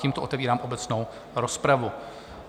Tímto otevírám obecnou rozpravu.